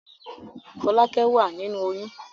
Fọ́lákẹ́ wà nínú oyún.